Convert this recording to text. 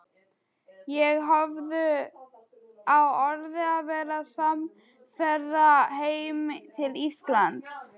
Þeir höfðu á orði að verða samferða heim til Íslands.